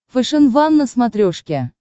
фэшен ван на смотрешке